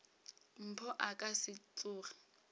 mpho a ka se tsoge